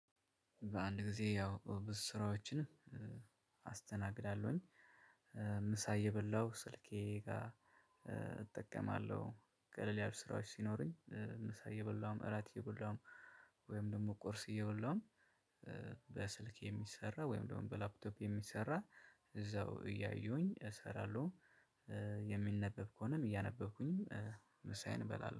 በአንድ ጊዜ ያው ብዙ ስራዎችን አስተናግዳለሁኝ። ምሳ እየበላሁ ስልኬ ጋር እጠቀማለሁ ቀለል ያሉ ስራዎች ሲኖሩኝ ምሳ እየበላሁም እራት እየበላሁም ወይም ደግሞ ቁርስ እየበላሁም። በስልክ የሚሰራ ወይም ደግሞ በላፕቶፕ የሚሰራ እዛው እያዩኝ እሰራለሁ። የሚነበብ ከሆነም እያነበብኩኝም ምሳዬን እበላለሁ